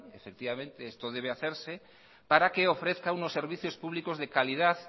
esto debe hacerse para que ofrezca unos servicios públicos de calidad